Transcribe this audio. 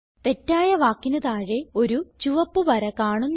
തെറ്റായ വാക്കിന് താഴെ ഒരു ചുവപ്പ് വര കാണുന്നു